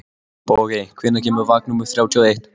Bogey, hvenær kemur vagn númer þrjátíu og eitt?